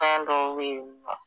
fɛn dɔw bɛ yen nɔ